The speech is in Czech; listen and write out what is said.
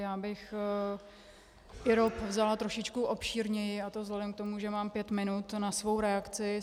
Já bych IROP vzala trošičku obšírněji, a to vzhledem k tomu, že mám pět minut na svou reakci.